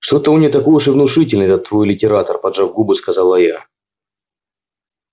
что то он не такой уж и внушительный этот твой литератор поджав губы сказала я